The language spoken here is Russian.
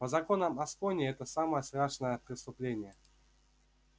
по законам аскони это самое страшное преступление